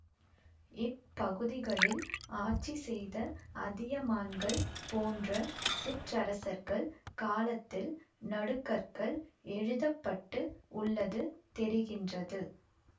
இப் பகுதிகளில் ஆட்சி செய்த அதியமான்கள் போன்ற சிற்றரசர்கள் காலத்தில் நடுகற்கள் எழுப்ப பட்டு உள்ளது தெரிகின்றது